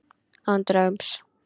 Án draums.